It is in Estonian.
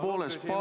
Palun küsimus!